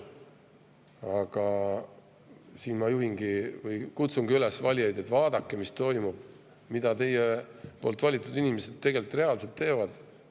Aga siin ma kutsungi valijaid üles, et vaadake, mis toimub, mida teie valitud inimesed tegelikult teevad.